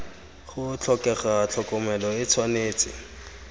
go tlhokega tlhokomelo e tshwanetse